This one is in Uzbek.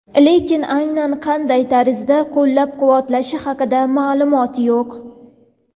Lekin aynan qanday tarzda qo‘llab-quvvatlashi haqida ma’lumot yo‘q.